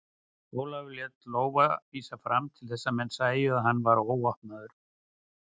Ólafur lét lófa vísa fram til þess að menn sæju að hann var óvopnaður.